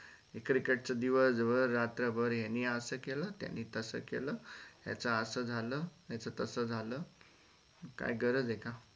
cricket च दिवस भर रात्रभर यानी असं केल त्यानी तसं केल याच असं झाल याच तसं झाल काय गरज हे का?